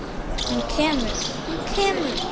Hann kemur, hann kemur!!